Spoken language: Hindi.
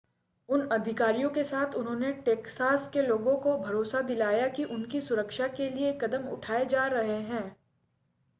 उन अधिकारियों के साथ उन्होंने टेक्सास के लोगों को भरोसा दिलाया कि उनकी सुरक्षा के लिए कदम उठाए जा रहे हैं